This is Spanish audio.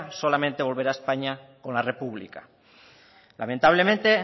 solamente volverá a españa con la república lamentablemente